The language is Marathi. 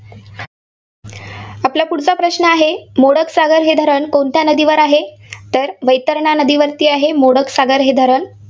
आपला पुढचा प्रश्न आहे, मोडक सागर हे धरण कोणत्या नदीवर आहे? तर वैतरणा नदीवरती आहे, मोडक सागर हे धरण.